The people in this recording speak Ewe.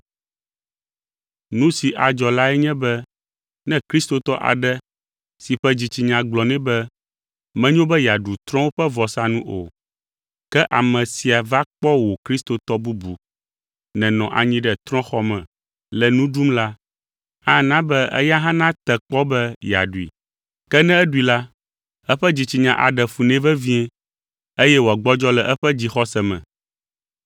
Nu si adzɔ lae nye be ne kristotɔ aɖe si ƒe dzitsinya gblɔ nɛ be menyo be yeaɖu trɔ̃wo ƒe vɔsanu o, ke ame sia va kpɔ wò kristotɔ bubu nènɔ anyi ɖe trɔ̃xɔ me le nu ɖum la, ana be eya hã nate kpɔ be yeaɖui. Ke ne eɖui la, eƒe dzitsinya aɖe fu nɛ vevie eye wòagbɔdzɔ le eƒe dzixɔse me.